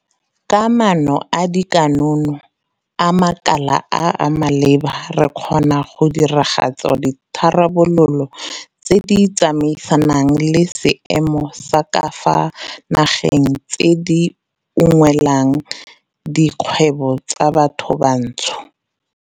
Ka maano a dikonokono a makala a a maleba re kgona go diragatsa ditharabololo tse di tsamaisanang le seemo sa ka fa nageng tse di unngwelang dikgwebo tsa bathobantsho.